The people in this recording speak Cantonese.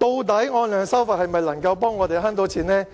究竟按量收費能否為我們節省開支呢？